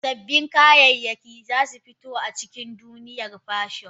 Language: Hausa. Sabbin kayayyaki za su fito a cikin duniyar fashion.